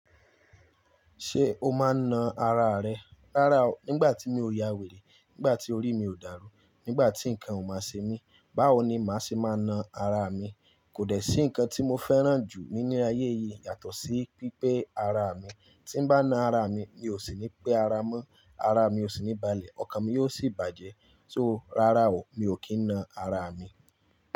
Ṣé o máa na ara rẹ? Rárá o, nígbà tí mi ò ya wèrè, nígbà tí orí mi ò dàrú, nígbà tí nǹkan ò máa ṣe mí, báwo ni màá ṣe máa na ara mi? Kò dẹ́ sí nǹkan tí mo fẹ́ràn jù nínú ayé yìí yàtọ̀ sí pípé ara mi. Tí n bá na ara mi, mi ò sì ní pé ara mọ́, ara mi ò sì níbalẹ̀, ọkàn mi yóò sì bàjẹ́. So rárá o, mi ò kí ń na ara mi.